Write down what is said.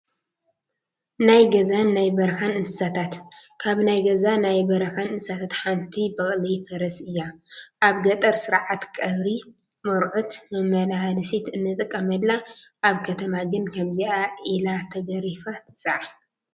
ናይ ገዛን ናይ በረኻን እንስሳታት፡- ካብ ናይ ገዛን ናይ በረኻን እንስሳታት ሓንቲ በቕሊ/ ፈረስ እያ፡፡ ኣብ ገጠር ስርዓተ ቀብሪ፣ መርዑት መመላለሲት ንጥቀመላ፣ ኣብ ከተማ ግን ከምዚኣ ኢላ ተገሪፋ ትፀዓን፡፡